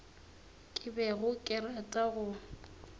ke bego ke rata go